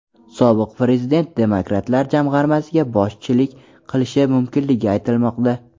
Sobiq prezident demokratlar jamg‘armasiga boshchilik qilishi mumkinligi aytilmoqda.